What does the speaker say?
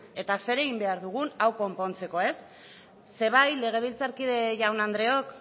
eta zer egin behar dugun hau konpontzeko bai legebiltzarkide jaun andreok